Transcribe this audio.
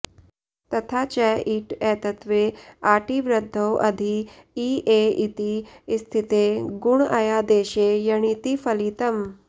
तथा च इट् एत्त्वे आटि वृद्धौ अधि इ ऐ इति स्थिते गुणेऽयादेशे यणिति फलितम्